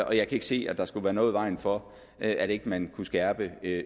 og jeg kan ikke se at der skulle være noget i vejen for at man kunne skærpe